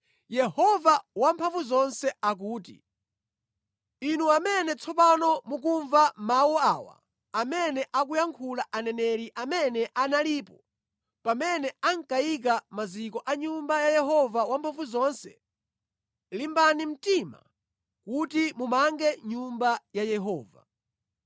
Yehova Wamphamvuzonse akuti, “Inu amene tsopano mukumva mawu awa amene akuyankhula aneneri amene analipo pamene ankayika maziko a nyumba ya Yehova Wamphamvuzonse, ‘limbani mtima kuti mumange Nyumba ya Yehova.’